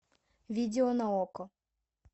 видео на окко